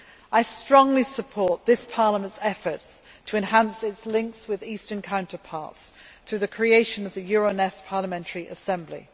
I strongly support this Parliament's efforts to enhance its links with Eastern counterparts, to the creation of the Euronest Parliamentary Assembly.